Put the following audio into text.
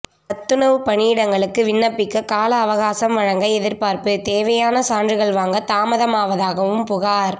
சத்துணவு பணியிடங்களுக்கு விண்ணப்பிக்க காலஅவகாசம் வழங்க எதிர்பார்ப்பு தேவையான சான்றுகள் வாங்க தாமதமாவதாகவும் புகார்